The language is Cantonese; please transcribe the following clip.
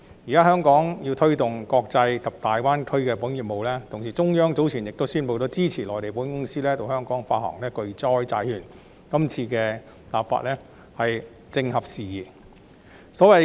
現在，香港要推動國際及大灣區的保險業務，同時，中央早前亦宣布支持內地保險公司到香港發行巨災債券，所以，今次立法工作正合時宜。